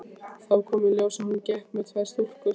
Þá kom í ljós að hún gekk með tvær stúlkur.